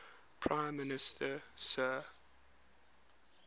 prime minister sir